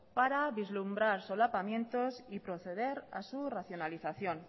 para vislumbrar solapamientos y proceder a su racionalización